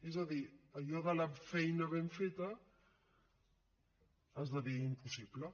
és a dir allò de la feina ben feta esdevé impossible